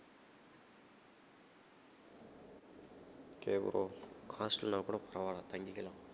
okay bro hostel னா கூட பரவாயில்லை தங்கிக்கலாம்